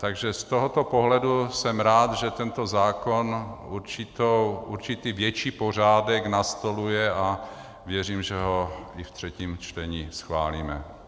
Takže z tohoto pohledu jsem rád, že tento zákon určitý větší pořádek nastoluje, a věřím, že ho i v třetím čtení schválíme.